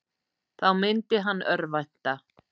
Þá myndi hann örvænta.